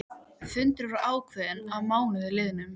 Fundur var ákveðinn að mánuði liðnum.